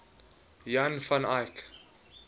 jan van eyck